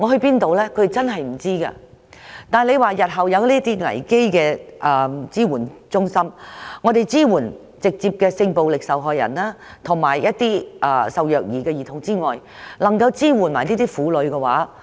如果日後設立這類危機支援中心，我們除了可以直接支援性暴力受害人及受虐兒童外，也可一併支援這些婦女。